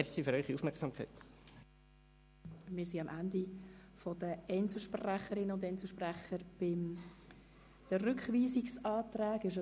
Wir sind am Ende der Einzelsprecherinnen und Einzelsprecher zu den Rückweisungsanträgen angelangt.